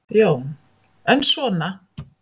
Jón: En svona.